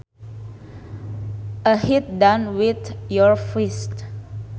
A hit done with your fist